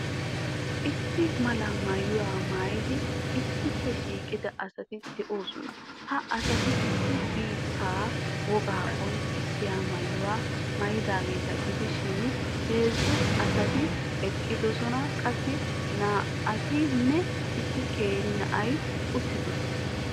Issi mala maayuwa maayidi issippe shiiqida asati de'oosona. Ha asati issi biittaa wogaa qonccissiya maayuwa maayidageeta gidishin, heezzu asati eqqidosona. Qassi naa''atinne issi qeeri na'ay uttidoosona.